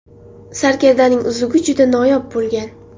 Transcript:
Sarkardaning uzugi juda noyob bo‘lgan.